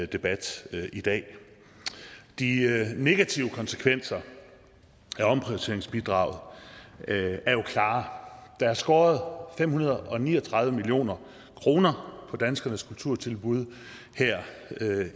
debat i dag de negative konsekvenser af omprioriteringsbidraget er jo klare der er skåret fem hundrede og ni og tredive million kroner på danskernes kulturtilbud